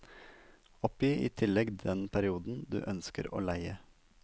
Oppgi i tillegg den perioden du ønsker å leie.